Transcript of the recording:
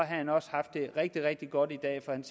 han også haft det rigtig rigtig godt i dag for han